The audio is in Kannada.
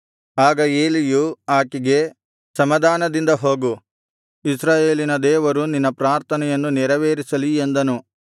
ಆಗ ಏಲಿಯು ಆಕೆಗೆ ಸಮಾಧಾನದಿಂದ ಹೋಗು ಇಸ್ರಾಯೇಲಿನ ದೇವರು ನಿನ್ನ ಪ್ರಾರ್ಥನೆಯನ್ನು ನೆರವೇರಿಸಲಿ ಎಂದನು